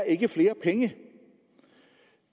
ikke er flere penge